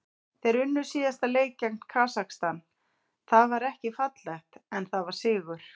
Þeir unnu síðasta leik gegn Kasakstan, það var ekki fallegt en það var sigur.